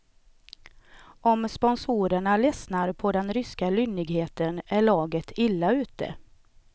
Om sponsorerna ledsnar på den ryska lynnigheten är laget illa ute.